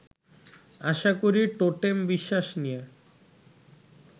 আশা করি টোটেম-বিশ্বাস নিয়ে